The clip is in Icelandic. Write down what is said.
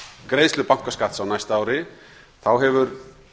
greiðslu bankaskatts á næsta ári þá hefur